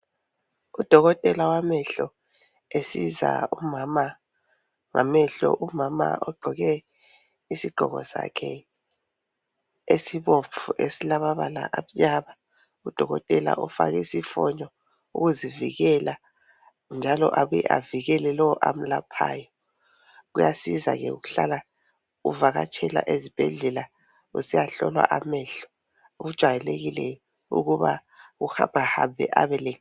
UDokotela wamehlo esiza umama ngamehlo. Umama ugqoke isigqoko sakhe esibomvu esilamabala amnyama. UDokotela ufake isifonyo ukuzivikela njalo abuye avikele lowo amelaphayo .kuyasiza ke ukuhlala uvakatshela ezibhedlela usiyahlolwa amehlo. Kujayelekile ukuba uhambahambe abele